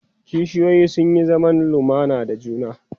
kishiyoyi sun Yi zaman lumana da juna